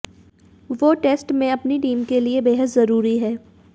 वो टेस्ट में अपनी टीम के लिए बेहद जरूरी हैं